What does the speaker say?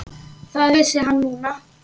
Það vissi hann núna.